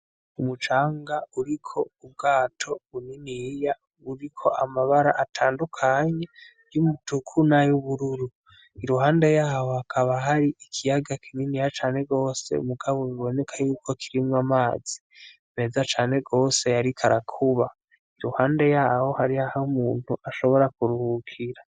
Umucanga uriko ubwato buniniya buriko amabara atandukanye yumutuku nayubururu iruhande yaho hakaba hari ikiyaga kininiya cane gose mugabo biboneka yuko kirimwo amazi meza cane gose ariko arakuba iruhande yaho hariho aho umuntu ashobora kuruhukira.